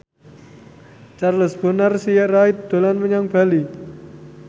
Charles Bonar Sirait dolan menyang Bali